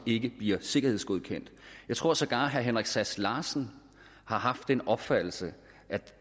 bliver sikkerhedsgodkendt jeg tror sågar herre henrik sass larsen har haft den opfattelse